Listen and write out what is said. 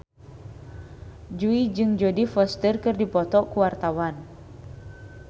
Jui jeung Jodie Foster keur dipoto ku wartawan